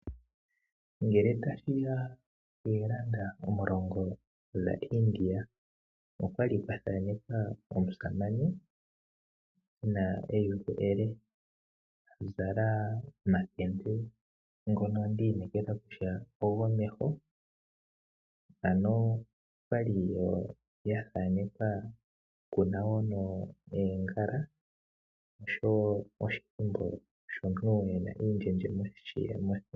Ngele tashi ya poorupi dhaIndia okwa li kwa thanekwa omusamane e na eyulu ele, a zala omakende ngiika gomeho. Okwa li wo kwa thanekwa oongala noshowo edhidnhiliko lyomutu e na omawe mothingo.